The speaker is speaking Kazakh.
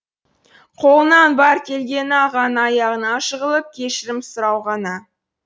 қолынан бар келгені ағаның аяғына жығылып кешірім сұрау ғана